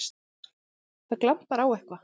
Það glampar á eitthvað!